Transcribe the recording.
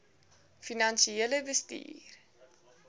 finansiële bestuur